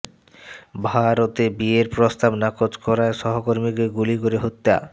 ভারতে বিয়ের প্রস্তাব নাকচ করায় সহকর্মীকে গুলি করে হত্যা